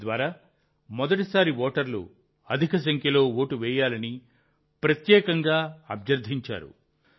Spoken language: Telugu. దీని ద్వారా మొదటి సారి ఓటర్లు అత్యధిక సంఖ్యలో ఓటు వేయాలని ప్రత్యేకంగా అభ్యర్థించారు